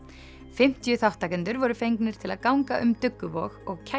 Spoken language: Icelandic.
fimmtíu þátttakendur voru fengnir til að ganga um Dugguvog og